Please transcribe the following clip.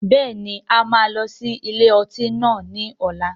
Bẹ́ẹ̀ni, a máa lọ sí ilé ọtí náà ni ọ̀la.